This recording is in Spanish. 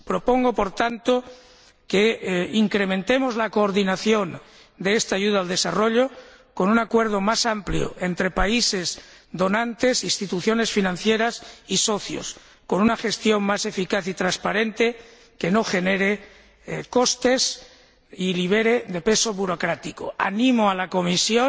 Propongo, por tanto, que incrementemos la coordinación de esta ayuda al desarrollo con un acuerdo más amplio entre países donantes, instituciones financieras y socios y con una gestión más eficaz y transparente que no genere costes y esté libre de peso burocrático. Animo a la Comisión,